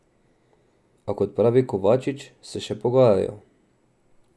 A, kot pravi Kovačič, se še pogajajo.